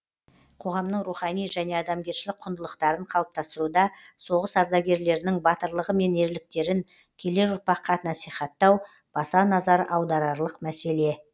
қоғамның рухани және адамгершілік құндылықтарын қалыптастыруда соғыс ардагерлерінің батырлығы мен ерліктерін келер ұрпаққа насихаттау баса назар аударарлық мәселе